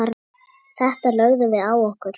Þetta lögðum við á okkur.